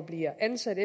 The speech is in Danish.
bliver ansat